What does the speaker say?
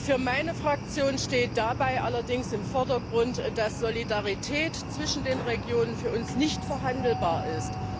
Für meine Fraktion steht dabei allerdings im Vordergrund, dass Solidarität zwischen den Regionen für uns nicht verhandelbar ist.